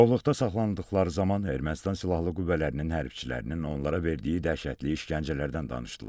Girovluqda saxlanıldıqları zaman Ermənistan silahlı qüvvələrinin hərbçilərinin onlara verdiyi dəhşətli işgəncələrdən danışdılar.